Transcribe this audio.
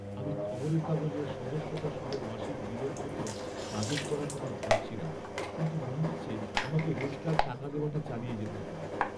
আমি খবরের কাগজের সদস্যতা সহ মাসিক বিলের জন্য বাজেট করার কথা ভাবছিলাম, কিন্তু মনে হচ্ছে আমাকে রোজকার টাকা দেওয়াটা চালিয়ে যেতে হবে।